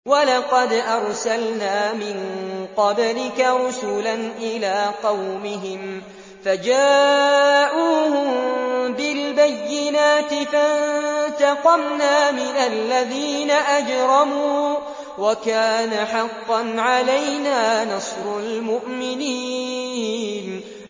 وَلَقَدْ أَرْسَلْنَا مِن قَبْلِكَ رُسُلًا إِلَىٰ قَوْمِهِمْ فَجَاءُوهُم بِالْبَيِّنَاتِ فَانتَقَمْنَا مِنَ الَّذِينَ أَجْرَمُوا ۖ وَكَانَ حَقًّا عَلَيْنَا نَصْرُ الْمُؤْمِنِينَ